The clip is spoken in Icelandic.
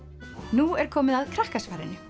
nú er komið að Krakkasvarinu